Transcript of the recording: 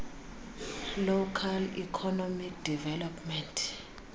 local economic development